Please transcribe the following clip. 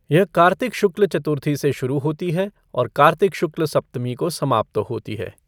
यह कार्तिक शुक्ल चतुर्थी से शुरू होती है और कार्तिक शुक्ल सप्तमी को समाप्त होती है।